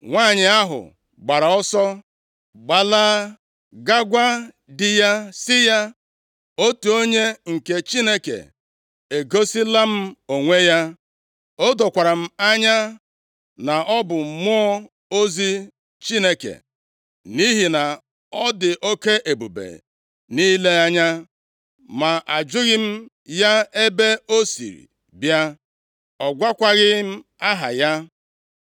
Nwanyị ahụ gbara ọsọ gbalaa gaa gwa di ya sị ya, “Otu onye nke Chineke egosila m onwe ya. O dokwara m anya na ọ bụ mmụọ ozi Chineke, nʼihi na ọ dị oke ebube nʼile anya. Ma ajụghị m ya ebe o siri bịa, ọ gwakwaghị m aha ya.